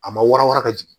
A ma wara wara ka jigin